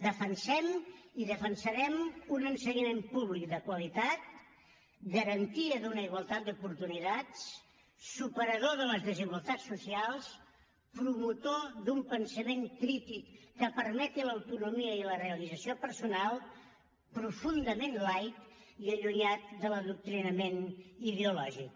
defensem i defensarem un ensenyament públic de qualitat garantia d’una igualtat d’oportunitats superador de les desigualtats socials promotor d’un pensament crític que permeti l’autonomia i la realització personal profundament laic i allunyat de l’adoctrinament ideològic